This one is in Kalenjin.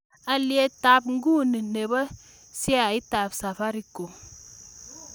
Alyetap inguni ne po sheaitap Safaricom